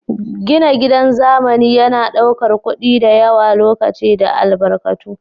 Gina gidan zamani yana ɗaukar kuɗi da yawa, lokaci da albarkatu